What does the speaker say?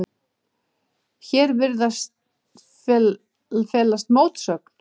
Hér virðist felast mótsögn.